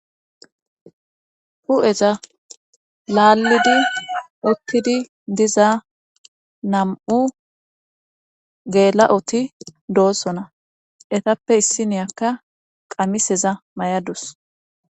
hu7eza laallidi ottidi diza nam7u geela7oti doossona etappe issiniyakka qamiseza may7adus.